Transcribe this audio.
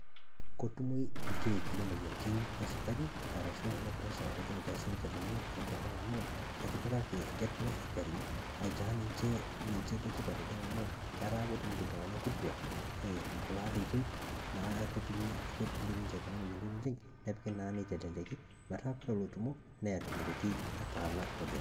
Kotumoi lkiek le moyianitin e sukarini arashu ne presha oleng te sipitalini e nkopang amu ketipikaki, etipikaa sirikali aitaa ninchee ninchee le tipaat oleng amu etaa kotumuto ltung'ana kituaa, kulo aririn naa kotumii kotumuto ninchee kuna moyianitin oleng. Neepiiki naa neiteleleki metaa kore lotumoo neeta nkutii nataana oleng.